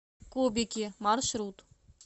кубики маршрут